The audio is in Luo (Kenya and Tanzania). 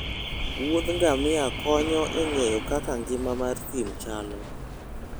Wuodh ngamia konyo e ng'eyo kaka ngima mar thim chalo